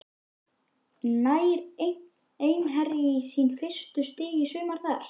Nær Einherji í sín fyrstu stig í sumar þar?